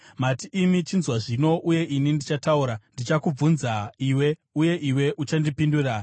“Mati imi, ‘Chinzwa zvino, uye ini ndichataura; ndichakubvunza iwe, uye iwe uchandipindura.’